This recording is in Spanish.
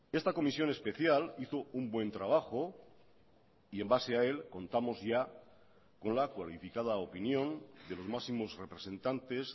esta comisión especial hizo un buen trabajo y en base a él contamos ya con la cualificada opinión de los máximos representantes